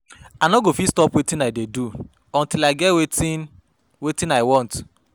I no go fit stop wetin I dey do till I get wetin wetin I want